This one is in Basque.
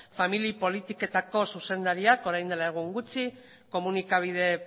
famili politiketako zuzendariak orain dela egun gutxi komunikabide